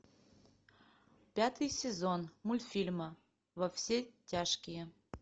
пятый сезон мультфильма во все тяжкие